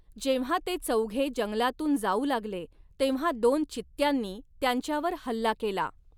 जेंव्हा ते चौघे जंगलातून जाऊ लागले तेव्हा दोन चित्त्यांनी त्यांच्यावर हल्ला केला.